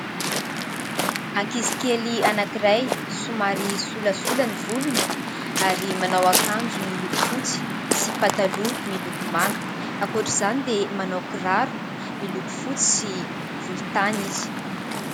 Ankizy kely anankiray somary solasolana ny volony ary manao ankanjo miloko fotsy sy pataloha miloko manga ,akoatra izany dia manao kiraro miloko fotsy sy volontany izy.